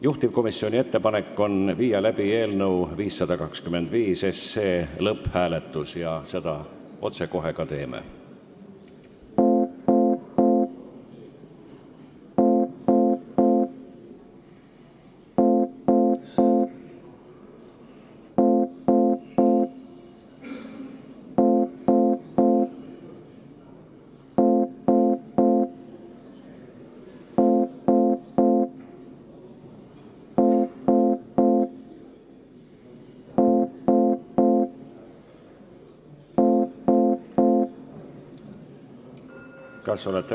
Juhtivkomisjoni ettepanek on viia läbi eelnõu 525 lõpphääletus ja seda me otsekohe ka teeme.